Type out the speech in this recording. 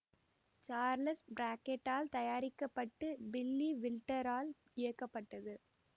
Charles Brackett ஆல் தயாரிக்க பட்டு பில்லி வில்டர் ஆல் இயக்கப்பட்டது